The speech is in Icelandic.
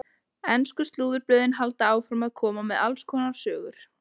Ensku slúðurblöðin halda áfram að koma með alls konar sögur.